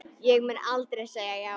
Ég mun aldrei segja já.